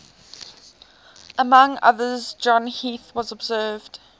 among others john heath has observed